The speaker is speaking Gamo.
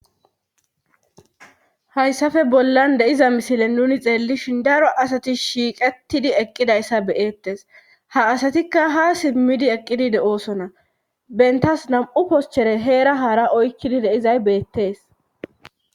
hayssafe bollan deiza misile nuni xeellishin daro asati shiiqettidi eqqidayssa beyettes ha asatikka ha simmidi eqqidi de7oosona bentas nam7u poschere heera haara oykkidi deizay beettees